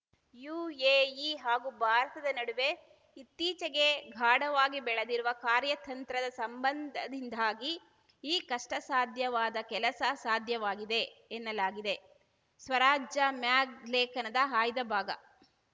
UAE ಹಾಗೂ ಭಾರತದ ನಡುವೆ ಇತ್ತೀಚೆಗೆ ಗಾಢವಾಗಿ ಬೆಳೆದಿರುವ ಕಾರ್ಯತಂತ್ರದ ಸಂಬಂಧದಿಂದಾಗಿ ಈ ಕಷ್ಟಸಾಧ್ಯವಾದ ಕೆಲಸ ಸಾಧ್ಯವಾಗಿದೆ ಎನ್ನಲಾಗುತ್ತಿದೆ ಸ್ವರಾಜ್ಯ ಮ್ಯಾಗ್‌ ಲೇಖನದ ಆಯ್ದ ಭಾಗ